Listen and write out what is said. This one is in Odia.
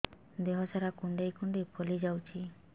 ଦେହ ସାରା କୁଣ୍ଡାଇ କୁଣ୍ଡାଇ ଫଳି ଯାଉଛି